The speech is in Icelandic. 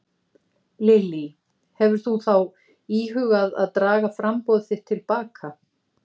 Lillý: Hefur þú þá íhugað að draga framboð þitt til baka?